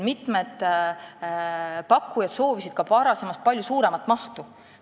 Mitmed pakkujad soovisid ka varasemast palju suuremat mahtu.